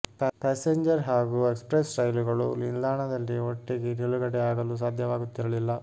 passenger ಹಾಗೂ express ರೈಲುಗಳು ನಿಲ್ದಾಣದಲ್ಲಿ ಒಟ್ಟಿಗೆ ನಿಲುಗಡೆ ಆಗಲು ಸಾಧ್ಯವಾಗುತ್ತಿರಲಿಲ್ಲ